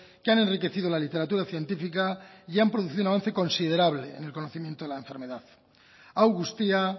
que ha enriquecido la literatura científica y han producido un avance considerable en el conocimiento de la enfermedad hau guztia